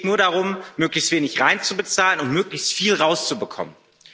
Es geht nur darum, möglichst wenig hineinzubezahlen und möglichst viel herauszubekommen.